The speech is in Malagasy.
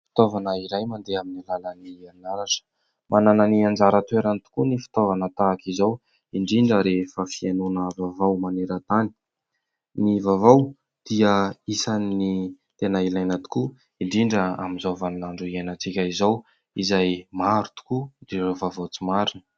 Fitaovana iray mandeha amin'ny alalan'ny herinaratra. Manana ny anjara toerany tokoa ny fitaovana tahaka izao indrindra rehefa fihainoana vaovao maneran-tany. Ny vaovao dia isany tena ilaina tokoa indrindra amin'izao vaninandro iainantsika izao izay maro tokoa ireo vaovao tsy marina.